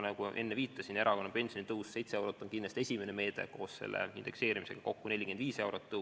Ma enne viitasin, et erakorraline pensionitõus 7 eurot on kindlasti esimene meede, koos indekseerimisega on tõus 45 eurot.